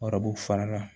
Ɔrɔbu fara la